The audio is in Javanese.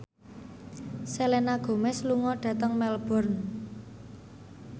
Selena Gomez lunga dhateng Melbourne